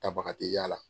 Tabaga tɛ yaala